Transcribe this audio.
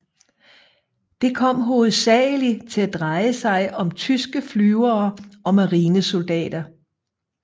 Det kom hovedsagelig til at dreje sig om tyske flyvere og marinesoldater